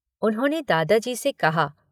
उन्होंने दादाजी से कहा।